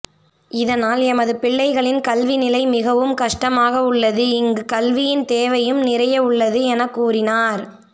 இதனால் எமது பிள்ளைகளின் கல்விநிலை மிகவும் கஷ்டமாக உள்ளது இங்கு கல்வியின் தேவையும் நிறைய உள்ளது எனக்கூறினார்